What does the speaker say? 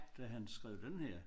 Da han skrev denne her